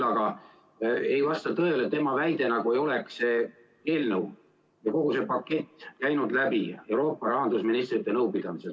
Samuti ei vasta tõele tema väide, nagu ei oleks see eelnõu või kogu see pakett käinud läbi Euroopa rahandusministrite nõupidamiselt.